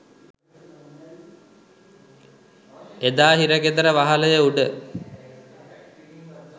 එදා හිරගෙදර වහලය උඩ